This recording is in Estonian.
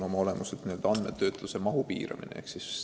Olemuselt on tegu andmetöötluse mahu piiramisega.